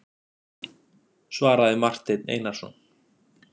svaraði Marteinn Einarsson.